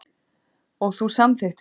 Og þú samþykktir það.